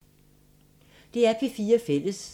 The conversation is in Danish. DR P4 Fælles